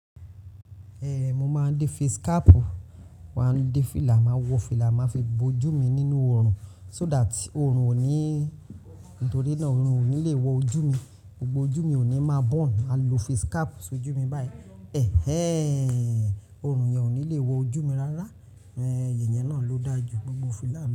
Ehn, mo máa ń dé face cap wàá, dé fìlà, màá wọ fìlà, màá fi bo ojú mi nínú oorun so that oorun ò ní, nítorí náà oorun ò ní le wọ ojú mi. Gbogbo ojú mi ò ní máa burn. A lo face cap sójú mi báyìí. Ehn, oorun yẹn ò ní le wọ ojú mi rárá. Ehn, ìyẹn náà ló dáa jù gbogbo fìlà.